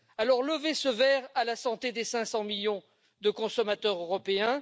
Alors, levez ce verre à la santé des 500 millions de consommateurs européens.